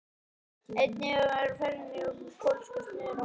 Einn var yfirmaður á ferjunni, annar pólskur smiður sem vann á